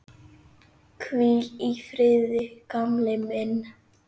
Hvíl í friði, gamli minn.